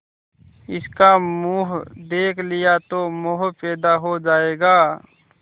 इसका मुंह देख लिया तो मोह पैदा हो जाएगा